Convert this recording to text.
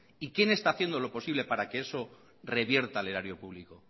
y quién haciendo lo posible para que eso revierta al erario público